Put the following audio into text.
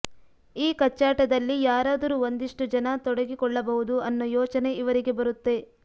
ಈ ಕಚ್ಚಾಟದಲ್ಲಿ ಯಾರಾದರೂ ಒಂದಿಷ್ಟು ಜನ ತೊಡಗಿಕೊಳ್ಳಬಹುದು ಅನ್ನೋ ಯೋಚನೆ ಇವರಿಗೆ ಬರುತ್ತೆ